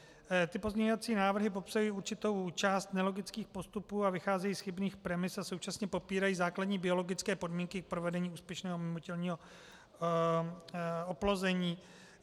Ty pozměňovací návrhy popsaly určitou část nelogických postupů a vycházejí z chybných premis a současně popírají základní biologické podmínky k provedení úspěšného mimotělního oplození.